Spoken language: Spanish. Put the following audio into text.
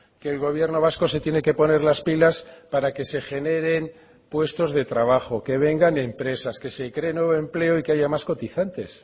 que el gobierno vasco se tiene que poner las pilas para que se generen puestos de trabajo que vengan empresas que se creen nuevo empleo y que haya más cotizantes